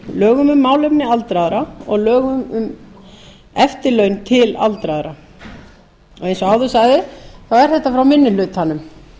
lögum um málefni aldraðra og lögum um eftirlaun til aldraðra eins og áður sagði er þetta frá minni hlutanum